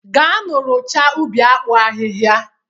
Gaanụ rụchasịa ubi akpụ ahịhịa!